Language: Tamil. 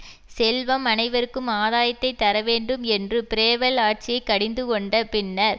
செல்வம் அனைவருக்கும் ஆதாயத்தைத் தரவேண்டும் என்று பிரேவல் ஆட்சியை கடிந்து கொண்ட பின்னர்